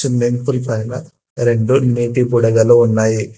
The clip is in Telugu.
స్విమ్మింగ్ పూల్ పైన రెండు నీటి బుడగలు ఉన్నాయి.